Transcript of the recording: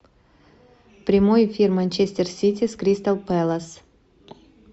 прямой эфир манчестер сити с кристал пэлас